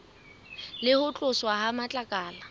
le ho tloswa ha matlakala